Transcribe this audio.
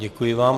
Děkuji vám.